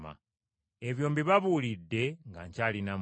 Ebyo mbibabuulidde nga nkyali nammwe.